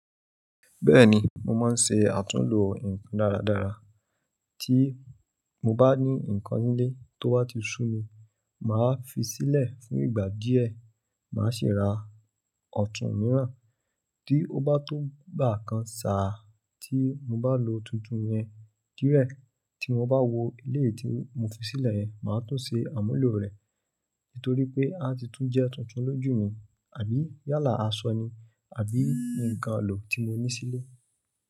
Bẹ́ẹ̀ni, mo máa ń ṣe àtúnlo nǹkan dáradára. Tí mo bá ní nǹkan ńlé tó wá ti sú mi, màá fi sílẹ̀ fún ìgbà díẹ̀. Màá sì ra ọ̀tún mìíràn. Tí ó bá tó gbàkan sàà tí mo bá lo tuntun yẹn díẹ̀, tí mo bá wo eléyìí tí mo fi sílẹ̀ yẹn, màá tún ṣe àmúlò rẹ̀. Nítorí pé á ti tún jẹ́ tuntun lójú mi àbí yálà asọ ni àbí nǹkan lò tí mo ní sílé.